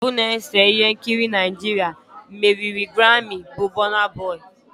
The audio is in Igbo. Onye mbụ na-ese ihe nkiri Naịjirịa meriri grammi bụ burna boy